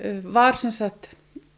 var sem sagt